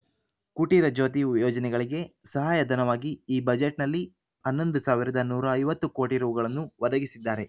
ಕುಟೀರ ಜ್ಯೋತಿ ಯೋಜನೆಗಳಿಗೆ ಸಹಾಯ ಧನವಾಗಿ ಈ ಬಜೆಟ್‌ನಲ್ಲಿ ಹನ್ನೊಂದು ಸಾವಿರದ ನೂರ ಐವತ್ತು ಕೋಟಿ ರೂಗಳನ್ನು ಒದಗಿಸಿದ್ದಾರೆ